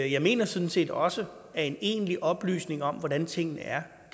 jeg mener sådan set også at en egentlig oplysning om hvordan tingene er kan